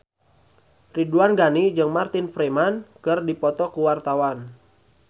Ridwan Ghani jeung Martin Freeman keur dipoto ku wartawan